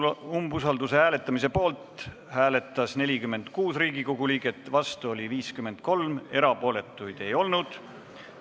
Hääletustulemused Umbusalduse avaldamise poolt hääletas 46 Riigikogu liiget, vastu oli 53, erapooletuid ei olnud.